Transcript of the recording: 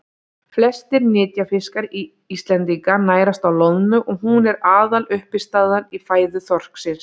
flestir nytjafiskar íslendinga nærast á loðnu og hún er aðaluppistaðan í fæðu þorsksins